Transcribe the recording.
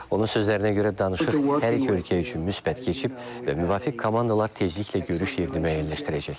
Onun sözlərinə görə danışıq hər iki ölkə üçün müsbət keçib və müvafiq komandalar tezliklə görüş yerini müəyyənləşdirəcəklər.